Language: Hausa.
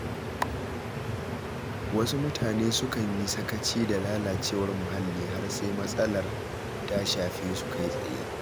Wasu mutane sukan yi sakaci da lalacewar muhalli har sai matsalar ta shafe su kai tsaye.